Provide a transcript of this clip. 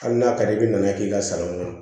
Hali n'a ka di i bɛn'a k'i ka sanni don